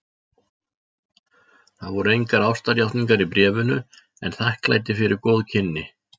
Það voru engar ástarjátningar í bréfinu en þakklæti fyrir góð kynni.